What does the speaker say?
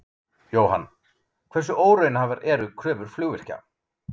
Jóhann: Hversu óraunhæfar eru kröfur flugvirkja?